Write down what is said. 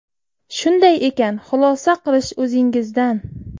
Shunday ekan, xulosa qilish o‘zingizdan”.